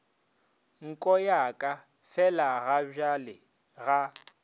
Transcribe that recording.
nko ya ka felagabjale ga